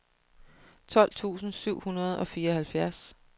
tolv tusind syv hundrede og fireoghalvfjerds